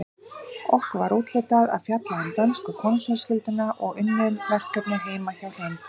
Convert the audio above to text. Okkur var úthlutað að fjalla um dönsku konungsfjölskylduna og unnum verkefnið heima hjá Hrönn.